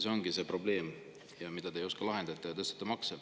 See ongi see probleem, mida te ei oska lahendada, ja siis tõstate makse.